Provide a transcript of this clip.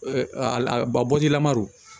ba bɔjilama